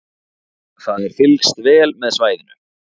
Það er fylgst vel með svæðinu